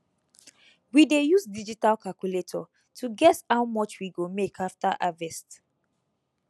we dey use digital calculator to guess how much we go make after harvest